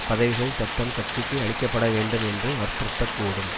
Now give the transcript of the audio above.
பதவிகள் தத்தம் கட்சிக்கு அளிக்க பட வேண்டும் என்று வற்புறுத்தக் கூடும்